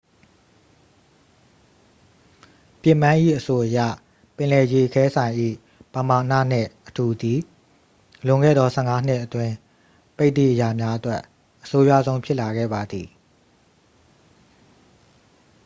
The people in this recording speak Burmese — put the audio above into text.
ပစ်မန်း၏အဆိုအရ ပင်လယ်ရေခဲစိုင်၏ ပမာဏနှင့်အထူသည် လွန်ခဲ့သော 15 နှစ်အတွင်း ပိတ်သည့်အရာများအတွက် အဆိုးရွားဆုံးဖြစ်လာခဲ့ပါသည်